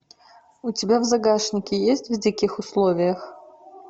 у тебя в загашнике есть в диких условиях